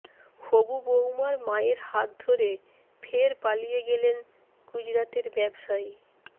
হবু বৌমার মায়ের হাত ধরে ফের পালিয়ে গেলেন গুজরাতের ব্যবসায়ী